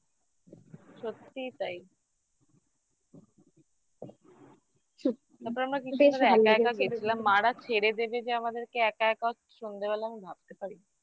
সত্যিই তাই একা একা গেছিলাম মা রা ছেড়ে দেবে যে আমাদেরকে একা একা সন্ধ্যেবেলা আমি ভাবতে পারিনি